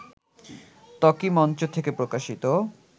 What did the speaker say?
ত্বকী মঞ্চ থেকে প্রকাশিত